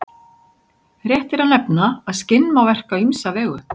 Rétt er að nefna að skinn má verka á ýmsa vegu.